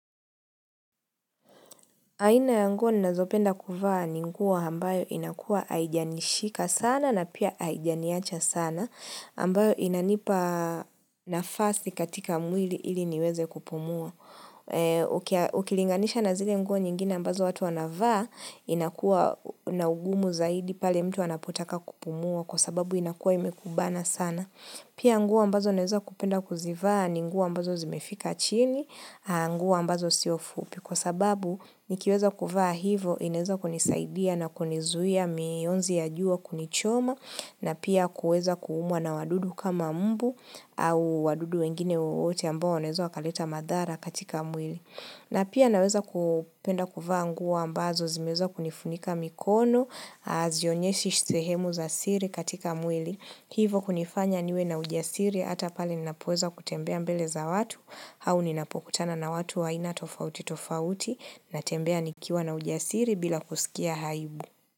Aina ya nguo ninazopenda kuvaa ni nguo ambayo inakua haijanishika sana na pia haijaniacha sana, ambayo inanipa nafasi katika mwili ili niweze kupumua. Ukilinganisha na zile nguo nyingine ambazo watu wanavaa, inakuwa na ugumu zaidi pale mtu wanapotaka kupumua kwa sababu inakua imekubana sana. Pia nguo ambazo naeza kupenda kuzivaa, ni nguo ambazo zimefika chini, nguo ambazo sio fupi kwa sababu nikiweza kuvaa hivo ineza kunisaidia na kunizuia mionzi ya juwa kunichoma na pia kuweza kuumwa na wadudu kama mbu au wadudu wengine wowote ambao waoweza wakalita madhara katika mwili. Na pia naweza kupenda kuva ngua ambazo zimeza kunifunika mikono, hazionyeshi sehemu za siri katika mwili. Hivo kunifanya niwe na ujasiri, ata pale ninapoza kutembea mbele za watu, hau ninapokutana na watu waina tofauti tofauti, natembea nikiwa na ujasiri bila kusikia haibu.